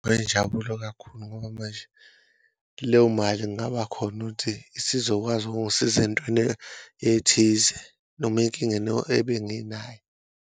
Kuyinjabulo akhulu ngoba manje leyo mali kungaba khona ukuthi isizokwazi ukungisiza entweni ethize noma enkingeni ebenginayo.